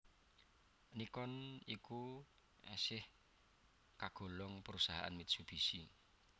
Nikon iku esih kagolong perusahaan Mitsubishi